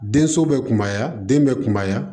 Denso bɛ kunbaya den bɛ kunbaya